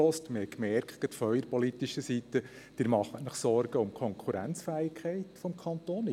Wir haben gemerkt, gerade von Ihrer politischen Seite , dass Sie sich um die Konkurrenzfähigkeit des Kantons Sorgen machen.